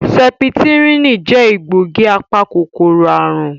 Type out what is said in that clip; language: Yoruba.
Sẹ́pítírínì jẹ egbògi apa-kòkòrò àrùn